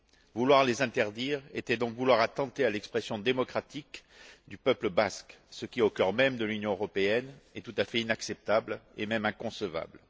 Vouloir les interdire était donc vouloir attenter à l'expression démocratique du peuple basque, ce qui, au cœur même de l'Union européenne, est tout à fait inacceptable et même inconcevable.